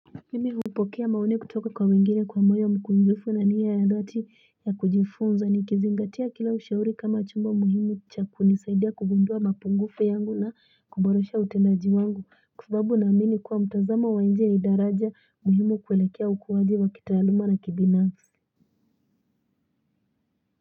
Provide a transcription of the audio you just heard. Mimi hupokea maoni kutoka kwa wengine kwa moyo mkunjufu na nia ya dhati ya kujifunza ni kizingatia kila ushauri kama chombo muhimu cha kunisaidia kugundua mapungufu yangu na kuborosha utendaji wangu kwa sababu naamini kuwa mtazamo wanje ni daraja muhimu kuelekea ukuwaji wa kitaaluma na kibinafsi.